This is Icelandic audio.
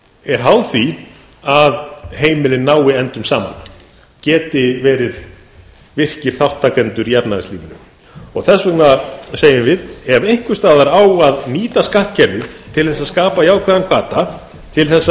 er háð því að heimilin nái endum saman geti verið virkir þátttakendur í efnahagslífinu þess vegna segjum við ef einhvers staðar á að nýta skattkerfið til að skapa jákvæðan hvata til